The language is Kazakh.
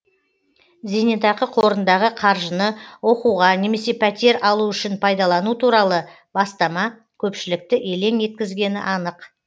зейнетақы қорындағы қаржыны оқуға немесе пәтер алу үшін пайдалану туралы бастама көпшілікті елең еткізгені анық